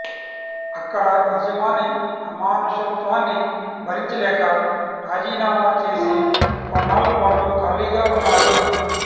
అక్కడ యజమాని అమానుషత్వాన్ని భరించలేక రాజీనామా చేసి కొన్నాళ్ళపాటు ఖాళీగా ఉన్నాడు